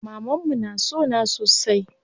Mamanmu na sona sosai.